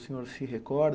O senhor se recorda?